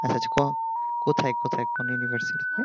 কোথায় কোথায় কোন university তে